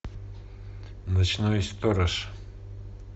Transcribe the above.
ночной сторож